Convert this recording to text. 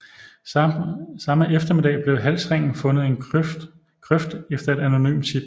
Samme eftermiddag blev halsringen fundet i en grøft efter et anonymt tip